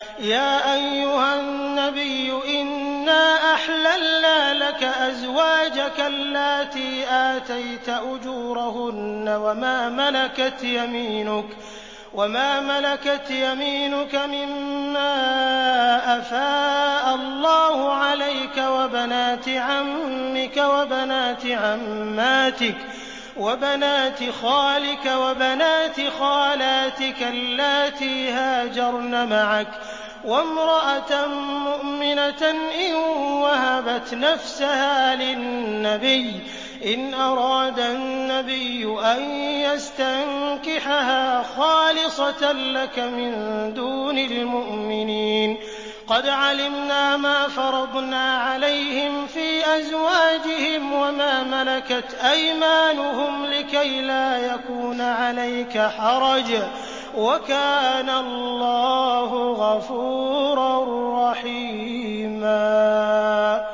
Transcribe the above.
يَا أَيُّهَا النَّبِيُّ إِنَّا أَحْلَلْنَا لَكَ أَزْوَاجَكَ اللَّاتِي آتَيْتَ أُجُورَهُنَّ وَمَا مَلَكَتْ يَمِينُكَ مِمَّا أَفَاءَ اللَّهُ عَلَيْكَ وَبَنَاتِ عَمِّكَ وَبَنَاتِ عَمَّاتِكَ وَبَنَاتِ خَالِكَ وَبَنَاتِ خَالَاتِكَ اللَّاتِي هَاجَرْنَ مَعَكَ وَامْرَأَةً مُّؤْمِنَةً إِن وَهَبَتْ نَفْسَهَا لِلنَّبِيِّ إِنْ أَرَادَ النَّبِيُّ أَن يَسْتَنكِحَهَا خَالِصَةً لَّكَ مِن دُونِ الْمُؤْمِنِينَ ۗ قَدْ عَلِمْنَا مَا فَرَضْنَا عَلَيْهِمْ فِي أَزْوَاجِهِمْ وَمَا مَلَكَتْ أَيْمَانُهُمْ لِكَيْلَا يَكُونَ عَلَيْكَ حَرَجٌ ۗ وَكَانَ اللَّهُ غَفُورًا رَّحِيمًا